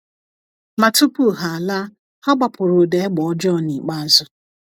Ma tupu ha laa, ha gbapụrụ ụda egbe ọjọọ nikpeazụ.